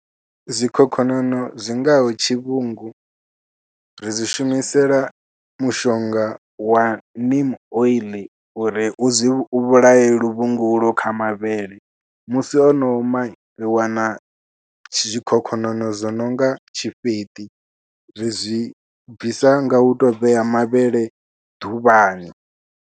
Zwikhokhonono zwi ngaho tshivhungu ri zwi shumisela mushonga wa Min oil uri u zwi, u vhulaye luvhungu ulo kha mavhele musi ono oma, ri wana zwikhokhonono zwo no nga tshifheṱi, ri zwi bvisa nga u tou vhea mavhele ḓuvhani.